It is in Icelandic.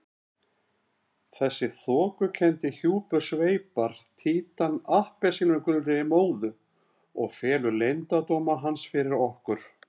Þessi þokukenndi hjúpur sveipar Títan appelsínugulri móðu og felur leyndardóma hans fyrir okkur.